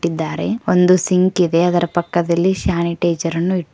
ಇಟ್ಟಿದ್ದಾರೆ ಒಂದು ಸಿಂಕ್ ಇದೆ ಅದರ ಪಕ್ಕದಲ್ಲಿ ಸ್ಯಾನಿಟೈಜರ್ ಅನ್ನು ಇಟ್ಟಿ--